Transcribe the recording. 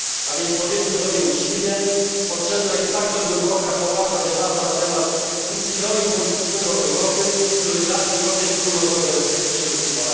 Więc powiedzmy sobie uczciwie potrzebna jest bardzo głęboka, poważna debata na temat ustroju politycznego Europy, który da Europie wspólnotowe przywództwo.